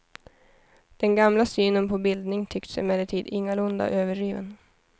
Den gamla synen på bildning tycks emellertid ingalunda övergiven.